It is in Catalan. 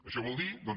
això vol dir doncs